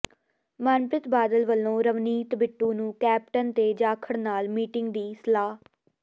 ਮਨਪ੍ਰੀਤ ਬਾਦਲ ਵੱਲੋਂ ਰਵਨੀਤ ਬਿੱਟੂ ਨੂੰ ਕੈਪਟਨ ਤੇ ਜਾਖੜ ਨਾਲ ਮੀਟਿੰਗ ਦੀ ਸਲਾਹ